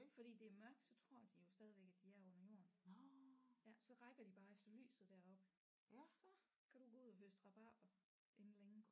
Fordi det er mørkt så tror de jo stadigvæk at de er under jorden ja så rækker de bare efter lyset deroppe så kan du gå ud og høste rabarber inden længe